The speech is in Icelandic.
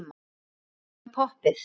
En hvað með poppið?